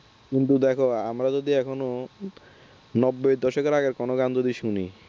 কিন্তু দেখ আমরা যদি এখনো নব্বই দশকের আগের এখনো কোন গান যদি শুনি